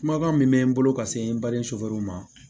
Kumakan min mɛ n bolo ka se n bali ma